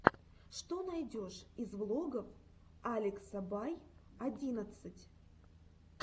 что найдешь из влогов алекса бай одиннадцать